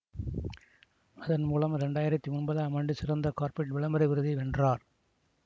அதன் மூலம் இரண்டாயிரத்தி ஒன்பதாம் ஆண்டு சிறந்த கார்ப்பரேட் விளம்பர விருதை வென்றார்